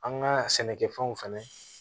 An ka sɛnɛkɛfɛnw fɛnɛ